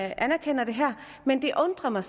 anerkender det her men det undrer mig